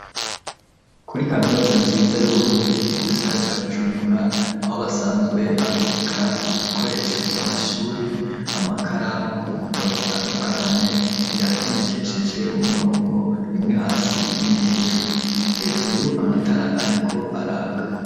Kuri kaminuta nziza yu Burundi mugisagara ca Bujumbura aho basanzwe babika ibikoresho vy'amashuri amakaramu ibitabo bitandukanye biratondekesheje umurongo rimwe hasi ibindi hejuru, hejuru amatara ariko araka.